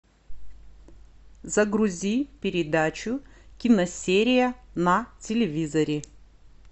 загрузи передачу киносерия на телевизоре